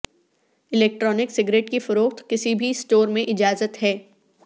electronic cigarette کی فروخت کسی بھی سٹور میں اجازت ہے